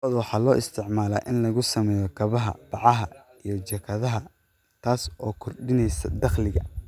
Lo'da waxaa loo isticmaalaa in lagu sameeyo kabaha, bacaha, iyo jaakadaha, taas oo kordhinaysa dakhliga.